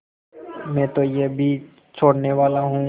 मैं तो यह भी छोड़नेवाला हूँ